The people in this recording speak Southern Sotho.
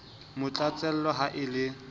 mo tlatsela ha e le